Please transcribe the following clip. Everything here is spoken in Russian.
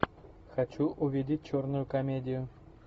хочу увидеть черную комедию